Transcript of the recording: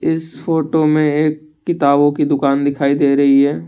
इस फोटो मे एक किताबों की दुकान दिखाई दे रही है।